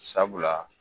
Sabula